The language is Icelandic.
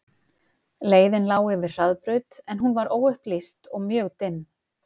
Leiðin lá yfir hraðbraut en hún var óupplýst og mjög dimm.